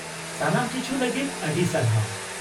ᱥᱟᱱᱟᱢ ᱠᱤᱪᱷᱩ ᱞᱟᱹᱜᱤᱫ ᱟᱹᱰᱤ ᱥᱟᱨᱦᱟᱣ ᱾